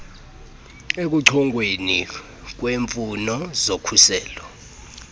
ekuchongweni kweemfuno zokhuselo